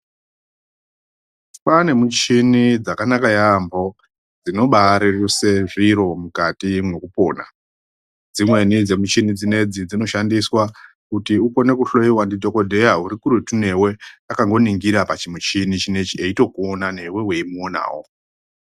Kwaane michini dzakanaka yaamho dzinobareruse zviro mukati mekupona dzimweni dzemuchini dzinedzi dzinoshandiswa kuti ukone kuhloyiwa ndidhokodheya urikuretu newe akangoningira pachimuchini chinechi eitokuona newe weimuonawo.